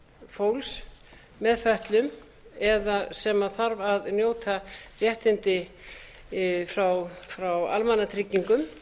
fólks með fötlun eða sem þarf að njóta réttinda frá almannatryggingum